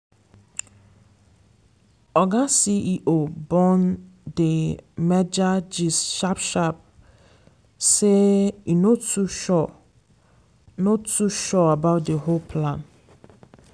oga ceo bone the merger gist sharp-sharp say e no too sure no too sure about the whole plan.